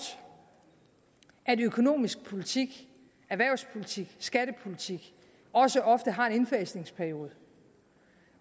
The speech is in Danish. at økonomisk politik erhvervspolitik skattepolitik også ofte har en indfasningsperiode